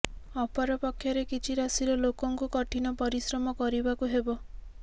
ଅପରପକ୍ଷରେ କିଛି ରାଶିର ଲୋକଙ୍କୁ କଠିନ ପରିଶ୍ରମ କରିବାକୁ ହେବ